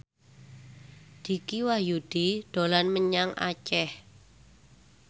Dicky Wahyudi dolan menyang Aceh